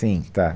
Sim, tá.